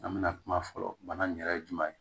An bɛna kuma fɔlɔ bana in yɛrɛ ye jumɛn ye